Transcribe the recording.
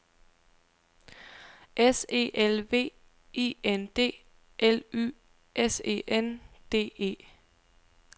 S E L V I N D L Y S E N D E